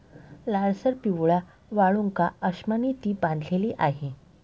लालसर पिवळ्या वाळूकाअश्मांनी ती बांधलेली आहे.